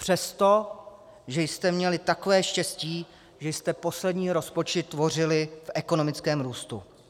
Přesto, že jste měli takové štěstí, že jste poslední rozpočet tvořili v ekonomickém růstu.